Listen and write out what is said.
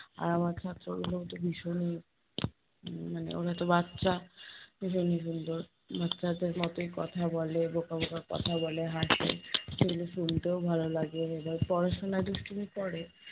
আর আমার ছাত্রগুলোওতো ভীষণই উম মানে ওরা তো বাচ্চা , এজন্যি সুন্দর, বাচ্চাদের মতোই কথা বলে, বোকা বোকা কথা বলে, হাসে , সেগুলো শুনতেও ভালো লাগে। আবার পড়াশোনায় দুষ্টুমি করে